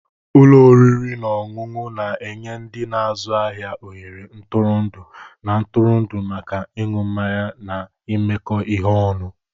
Ụlọ oriri na ọṅụṅụ na-enye ndị na-azụ ahịa ohere ntụrụndụ na ntụrụndụ maka ịṅụ mmanya na imekọ ihe ọnụ.